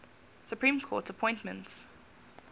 supreme court appointments